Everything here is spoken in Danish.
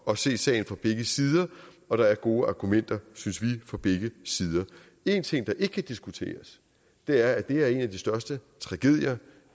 at se sagen fra begge sider og der er gode argumenter synes vi for begge sider én ting der ikke kan diskuteres er at det er en af de største tragedier